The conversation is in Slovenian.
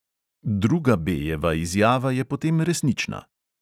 Druga B jeva izjava je potem resnična.